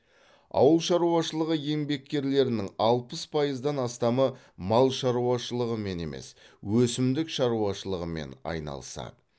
ауыл шаруашылығы еңбеккерлерінің алпыс пайыздан астамы мал шаруашылығымен емес өсімдік шаруашылығымен айналысады